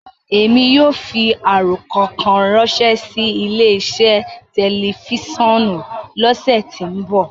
Emi yóò fi arokọ kan ranṣẹ si ile-iṣẹ tẹlifisiọnu lọsẹ ti nbọ.